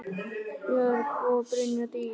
Björk og Brynja Dís.